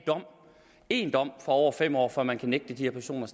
en dom på over fem år for at man kan nægte de her personer